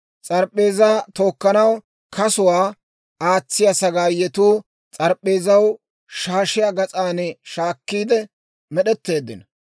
S'arp'p'eezaa tookkanaw kasuwaa aatsiyaa sagaayetuu s'arp'p'eezaw shaashiyaa gas'aan shiik'iide med'etteeddino.